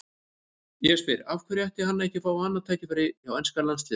Ég spyr: Af hverju ætti hann ekki að fá annað tækifæri hjá enska landsliðinu?